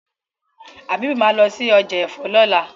Habib má lọ sí ọjà èfó lola.